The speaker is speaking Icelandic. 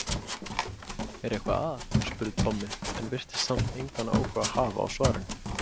Er eitthvað að? spurði Tommi en virtist samt engan áhuga hafa á svarinu.